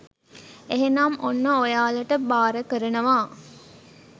එහෙනම් ඔන්න ඔයාලට බාර කරනවා